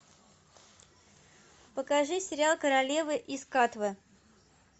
покажи сериал королева из катвы